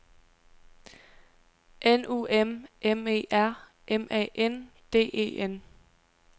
N U M M E R M A N D E N